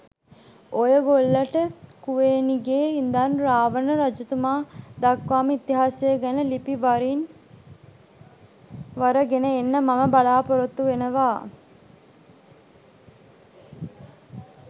ඔයගොල්ලට කුවේණිගේ ඉඳන් රාවණ රජතුමාදක්වාම ඉතිහාසය ගැන ලිපි වරින් වර ගෙන එන්න මම බලාපොරොත්තු වෙනවා.